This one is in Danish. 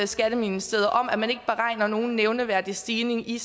skatteministeriet om at man ikke beregner nogen nævneværdig stigning i